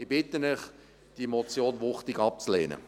Ich bitte Sie, diese Motion wuchtig abzulehnen.